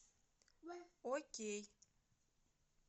окей